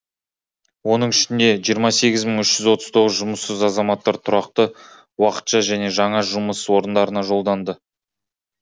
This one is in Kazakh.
оның ішінде жиырма сегіз мың үш жүз отыз тоғызы жұмыссыз азаматтар тұрақты уақытша және жаңа жұмыс орындарына жолданды